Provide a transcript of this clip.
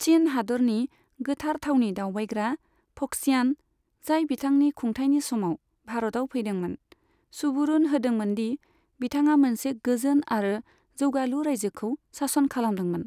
चिन हादोरनि गोथार थावनि दावबायग्रा फक्सियान, जाय बिथांनि खुंथाइनि समाव भारतआव फैदोंमोन, सुबुरुन होदोंमोन दि बिथाङा मोनसे गोजोन आरो जौगालु रायजोखौ सासन खालामदोंमोन।